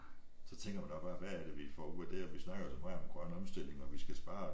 Så tænker man også bare hvad er det vi får ud af det og vi snakker jo så meget om den grønne omstilling og vi skal spare